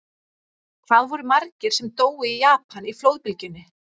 Hvað voru margir sem dóu í Japan í flóðbylgjunni?